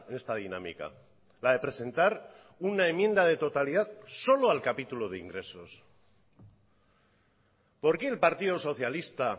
esta dinámica la de presentar una enmienda de totalidad solo al capítulo de ingresos por qué el partido socialista